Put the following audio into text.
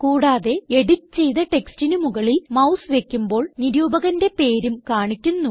കൂടാതെ എഡിറ്റ് ചെയ്ത ടെക്സ്റ്റിന് മുകളിൽ മൌസ് വയ്ക്കുമ്പോൾ നിരൂപകന്റെ പേരും കാണിക്കുന്നു